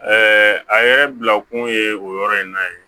a yɛrɛ bila kun ye o yɔrɔ in na ye